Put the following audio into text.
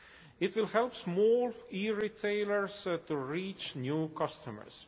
It will help small e retailers to reach new customers.